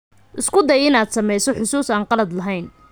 Isku day inaad sameyso xasuus aan qalad lahayn.